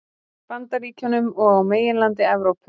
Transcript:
Bandaríkjunum og á meginlandi Evrópu.